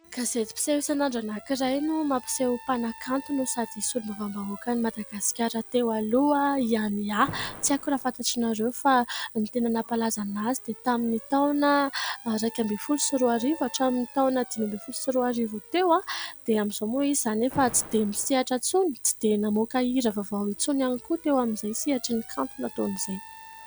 Gazety mpiseho isan'andro anankiray, no mampiseho mpanakanto no sady mpisolo bavam-bahoakan'i Madagasikara teo aloha i "Ania". Tsy aiko raha fantatrareo fa ny tena nampalaza anazy dia tamin'ny taona iraika ambin' ny folo sy roa arivo hatramin'ny taona dimy ambin' ny folo sy roa arivo teo. Dia amin'izao moa izy, izany efa tsy dia misehatra intsony, tsy dia namoaka hira vaovao intsony ; ihany koa teo amin'izay sehatrin' ny kanto izay nataony izay.